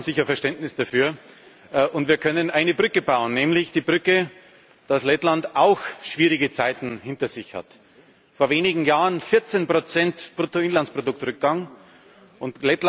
Aber Sie haben sicher Verständnis dafür, und wir können eine Brücke bauen, nämlich die Brücke, dass Lettland auch schwierige Zeiten hinter sich hat vor wenigen Jahren einen Rückgang des Bruttoinlandsprodukts um